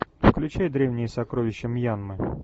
включай древние сокровища мьянмы